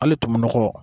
Hali tumukɔ